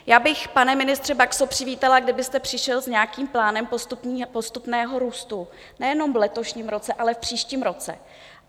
Já bych, pane ministře Baxo, přivítala, kdybyste přišel s nějakým plánem postupného růstu, nejenom v letošním roce, ale v příštím roce.